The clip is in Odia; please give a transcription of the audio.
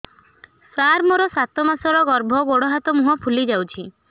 ସାର ମୋର ସାତ ମାସର ଗର୍ଭ ଗୋଡ଼ ହାତ ମୁହଁ ଫୁଲି ଯାଉଛି